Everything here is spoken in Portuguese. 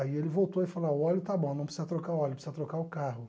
Aí ele voltou e falou, o óleo está bom, não precisa trocar o óleo, precisa trocar o carro.